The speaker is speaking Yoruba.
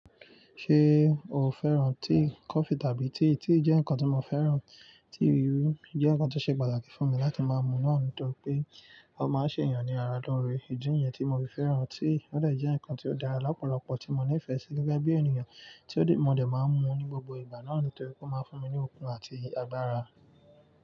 Ṣé o fẹ́ràn tíì? Kọfí tàbí tíì, tíì jẹ́ nǹkan tó mo fẹ́ràn, tíì ewúro jẹ́ nǹkan tó ṣe pàtàkì fún mi láti máa mú náà nítorí pé ó máa ṣe èèyàn ní ara lóore, ìdí yẹn tí mo fi fẹ́ràn tíì, ó dà jẹ́ ǹkan tí ó dára lọpọlọpọ tí mo nífẹ̀ẹ́ sí gẹ́gẹ́ bí ènìyàn tí ó dé, mo dẹ̀ máa ń mú ní gbogbo ìgbà náà nítorí pé ó máa ń fún mi ní okun àti agbára.